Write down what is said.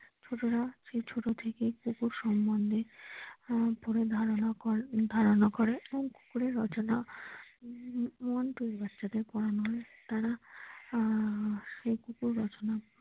ছোটরা সেই ছোট থেকেই কুকুর সম্বন্ধে আহ পুরো ধারণা করে এবং কুকুরের রচনা উম one two বাচ্চাদের পোড়ানো হয় তারা আহ সেই কুকুর রচনা ।